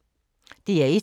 DR1